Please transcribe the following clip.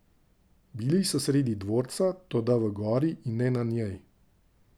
Bili so sredi dvorca, toda v gori, in ne na njej!